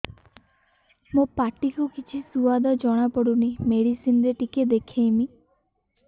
ମୋ ପାଟି କୁ କିଛି ସୁଆଦ ଜଣାପଡ଼ୁନି ମେଡିସିନ ରେ ଟିକେ ଦେଖେଇମି